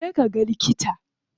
Je ka ga likita.